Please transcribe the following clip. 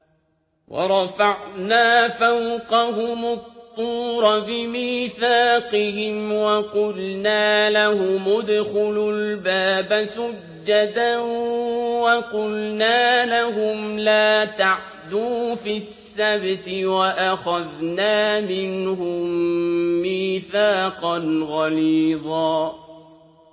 وَرَفَعْنَا فَوْقَهُمُ الطُّورَ بِمِيثَاقِهِمْ وَقُلْنَا لَهُمُ ادْخُلُوا الْبَابَ سُجَّدًا وَقُلْنَا لَهُمْ لَا تَعْدُوا فِي السَّبْتِ وَأَخَذْنَا مِنْهُم مِّيثَاقًا غَلِيظًا